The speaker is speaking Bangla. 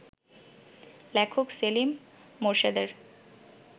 লেখক সেলিম মোরশেদের